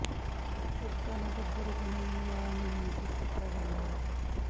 ਸ਼ੁੱਧਤਾ ਨੂੰ ਪੱਧਰ ਅਤੇ ਨਿਯਮ ਦੁਆਰਾ ਨਿਯੰਤਰਿਤ ਕੀਤਾ ਜਾਂਦਾ ਹੈ